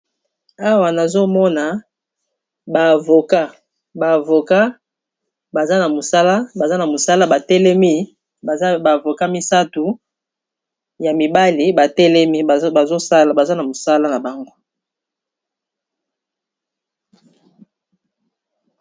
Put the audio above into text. Awa nazomona baza ba Avoca baza na mosala batelemi baza bavoka misatu ya mibale batelemi baza na mosala na bango